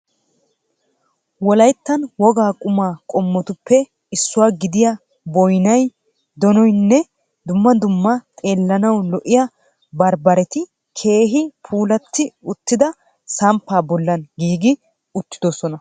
Wolayittani wogaa qumaa qommotuppe issuwa gidiya boyinayi, donoynne dumma dumma xeellanawu lo'iya bambareti keehi puulatti uttida samppaa bollan giigi uttidosona.